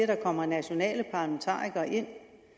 der kommer nationale parlamentarikere ind